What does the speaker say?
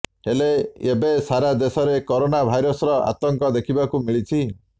ହେଲେ ଏବେ ସାରା ଦେଶରେ କରୋନା ଭାଇରସର ଆତଙ୍କ ଦେଖିବାକୁ ମିଳିଛି